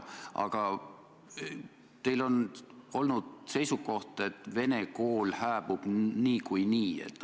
Aga teil on olnud seisukoht, et vene kool hääbub niikuinii.